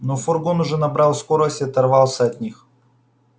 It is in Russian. но фургон уже набрал скорость и оторвался от них